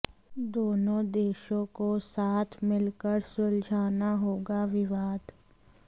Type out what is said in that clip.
दोनों देशों को साथ मिलकर सुलझाना होगा विवाद